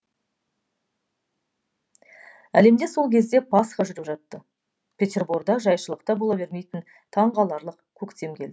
әлемде сол кезде пасха жүріп жатты петерборда жайшылықта бола бермейтін таңғаларлық көктем келді